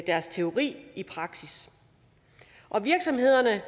deres teori i praksis og virksomhederne